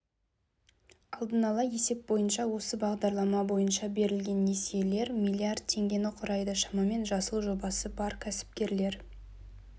алдын-ала есеп бойынша осы бағдарлама бойынша берілген несиелер млрд теңгені құрайды шамамен жасыл жобасы бар кәсіпкер